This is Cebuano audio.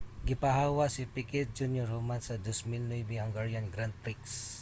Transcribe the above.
gipahawa si picquet jr. human sa 2009 hungarian grand prix